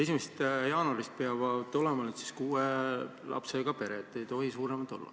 1. jaanuarist peavad olema kuue lapsega pered, ei tohi suuremad olla.